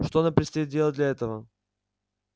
что нам предстоит делать для этого